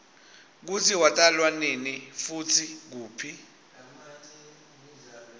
kutsi watalwanini futsi kuphi